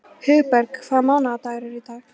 Hugberg, hvaða mánaðardagur er í dag?